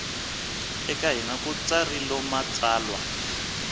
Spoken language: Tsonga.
eka hina ku tsarilo matsalwa